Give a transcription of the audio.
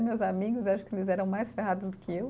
Meus amigos, acho que eles eram mais ferrados do que eu.